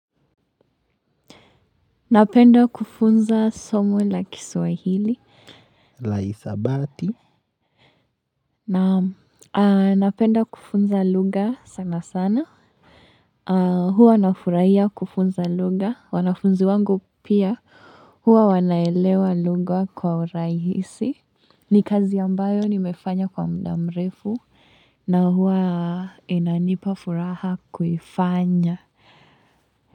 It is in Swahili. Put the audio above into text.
Napenda kufunza somo la kiswahili. La hisabati? Naam, napenda kufunza lugha sana sana. Huwa nafurahia kufunza lugha. Wanafunzi wangu pia huwa wanaelewa lugha kwa urahisi. Ni kazi ambayo nimefanya kwa muda mrefu. Na huwa inanipa furaha kuifanya.